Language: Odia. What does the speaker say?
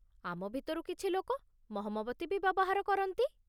ଆମ ଭିତରୁ କିଛି ଲୋକ ମହମବତୀ ବି ବ୍ୟବହାର କରନ୍ତି ।